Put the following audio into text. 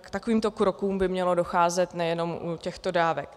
k takovýmto krokům by mělo docházet nejenom u těchto dávek.